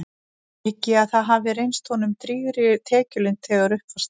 Hygg ég að það hafi reynst honum drýgri tekjulind þegar upp var staðið.